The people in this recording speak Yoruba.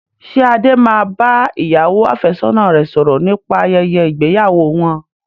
Ṣé Adé máa bá ìyàwó àfẹ́sọ́nà rẹ sọ̀rọ̀ nípa ayẹyẹ ìgbéyàwó wọn?